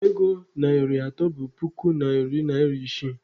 Akpa ego narị atọ bụ puku narị naịra isii.